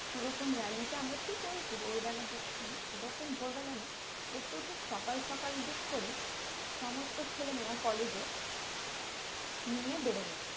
সে রকম really টা আমরা ঠিক ওই ভোরবেলা দিক মানে সেরকম ভোরবেলা না একটু ঠিক সকাল সকাল দিক করে সমস্ত ছেলেমেয়েরা college এ নিয়ে বেরোবো